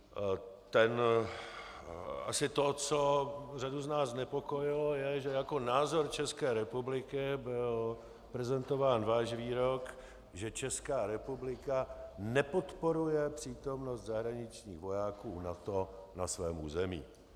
Asi to, co řadu z nás znepokojilo, je, že jako názor České republiky byl prezentován váš výrok, že Česká republika nepodporuje přítomnost zahraničních vojáků NATO na svém území.